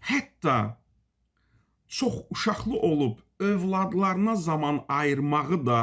Hətta çox uşaqlı olub övladlarına zaman ayırmağı da